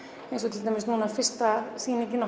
til dæmis núna fyrsta sýningin